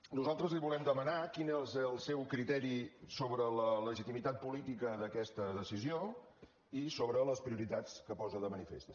nosaltres li volem demanar quin és el seu criteri sobre la legitimitat política d’aquesta decisió i sobre les prioritats que posa de manifest